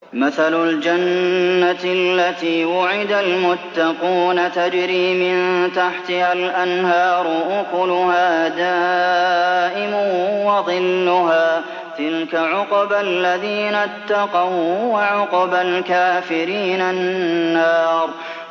۞ مَّثَلُ الْجَنَّةِ الَّتِي وُعِدَ الْمُتَّقُونَ ۖ تَجْرِي مِن تَحْتِهَا الْأَنْهَارُ ۖ أُكُلُهَا دَائِمٌ وَظِلُّهَا ۚ تِلْكَ عُقْبَى الَّذِينَ اتَّقَوا ۖ وَّعُقْبَى الْكَافِرِينَ النَّارُ